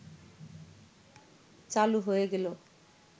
চালু হয়ে গেল